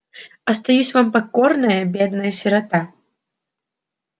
остаюсь вам покорная бедная сирота